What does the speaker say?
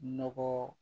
Nɔgɔ